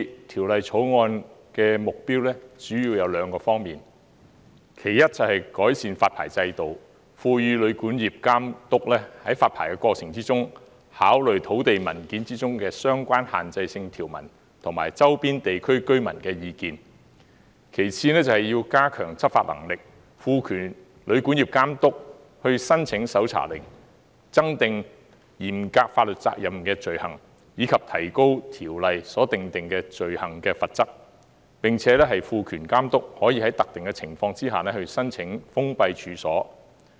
《條例草案》的目標，主要有兩方面：第一，是改善發牌制度，賦予旅館業監督在發牌過程中，考慮土地文件中的相關限制性條文及周邊地區居民的意見；其次，是加強執法能力，賦權旅館業監督申請搜查令，增訂嚴格法律責任的罪行，以及提高《旅館業條例》所訂定的罪行的罰則，並且賦權監督可以在特權的情況下封閉處所。